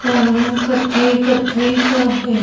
और रंग कत्थई कत्थई सा है।